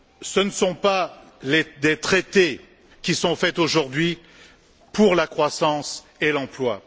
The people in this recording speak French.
Ce ne sont pas des traités qui sont faits aujourd'hui pour la croissance et l'emploi.